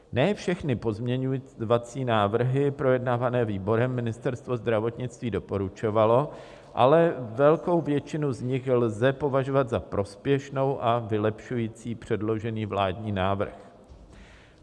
Ne všechny pozměňovací návrhy projednávané výborem Ministerstvo zdravotnictví doporučovalo, ale velkou většinu z nich lze považovat za prospěšnou a vylepšující předložený vládní návrh.